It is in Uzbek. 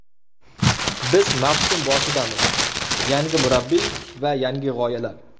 Biz mavsum boshidamiz, yangi murabbiy va yangi g‘oyalar.